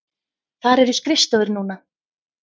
Þar eru skrifstofur núna.